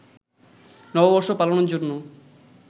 নববর্ষ পালনের জন্য